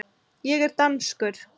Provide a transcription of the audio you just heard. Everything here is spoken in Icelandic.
Ég er danskur.